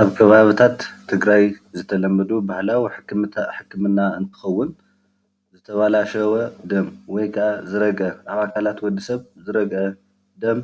ኣብ ከባታታት ትግራይ ዝተለመዱ ባህላዊ ሕክምና እንትኸውን ፤ ዘተበላሸወ ደም ወይ ከዓ ዝረግዐ ኣብ ኣካላት ወድሰብ ዝረግዐ ደም